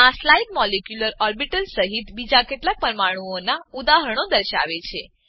આ slide molecular orbitals સહીત બીજા કેટલાક પરમાણુઓનાં ઉદાહરણો દર્શાવે છે